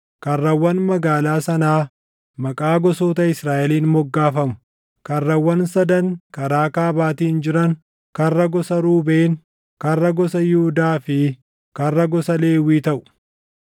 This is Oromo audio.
karrawwan magaalaa sanaa maqaa gosoota Israaʼeliin moggaafamu. Karrawwan sadan karaa kaabaatiin jiran karra gosa Ruubeen, karra gosa Yihuudaa fi karra gosa Lewwii taʼu.